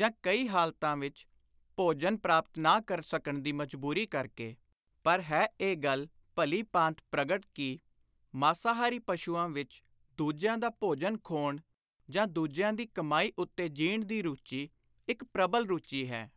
ਜਾਂ (ਕਈ ਹਾਲਤਾਂ ਵਿਚ) ਭੋਜਨ ਪ੍ਰਾਪਤ ਨਾ ਕਰ ਸਕਣ ਦੀ ਮਜਬੁਰੀ ਕਰਕੇ; ਪਰ ਹੈ ਇਹ ਗੱਲ ਭਲੀ-ਭਾਂਤ ਪ੍ਰਗਟ ਕਿ ਮਾਸਾਹਾਰੀ ਪਸ਼ੂਆਂ ਵਿਚ ਦੁਜਿਆਂ ਦਾ ਭੋਜਨ ਖੋਹਣ ਜਾਂ ਦੁਜਿਆਂ ਦੀ ਕਮਾਈ ਉੱਤੇ ਜੀਣ ਦੀ ਰੁਚੀ, ਇਕ ਪ੍ਰਬਲ ਰੁਚੀ ਹੈ।